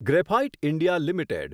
graphite India limited